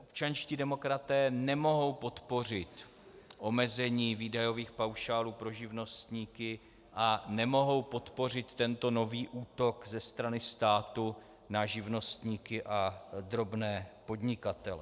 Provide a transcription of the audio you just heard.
Občanští demokraté nemohou podpořit omezení výdajových paušálů pro živnostníky a nemohou podpořit tento nový útok ze strany státu na živnostníky a drobné podnikatele.